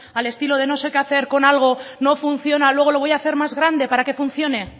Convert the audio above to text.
al estilo de no sé qué hacer con algo no funciona luego lo voy hacer más grande para que funcione